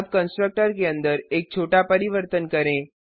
अब कंस्ट्रक्टर के अंदर एक छोटा परिवर्तन करें